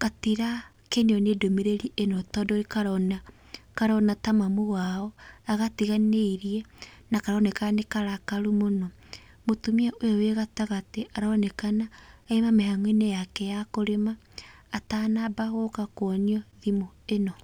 gatirakenio nĩ ndũmĩrĩri ĩno tondũ karona, karona ta mamu wao agatiganĩirie na karoneka nĩ karakaru mũno. Mũtumĩa ũyũ ũrĩ gatagatĩ aronekana auma mĩhang'o-inĩ yake ya kũrĩma atanamba gũka kuonio thimũ ĩno.